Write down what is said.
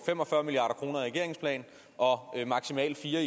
fem og fyrre milliard kroner i regeringens plan og de maksimalt fire